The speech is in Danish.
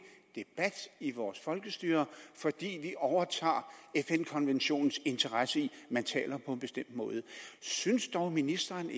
debat i vores folkestyre fordi vi overtager fn konventionens interesse i at man taler på en bestemt måde synes ministeren